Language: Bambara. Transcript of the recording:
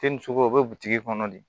Te ni sogo bɛ butigi kɔnɔ de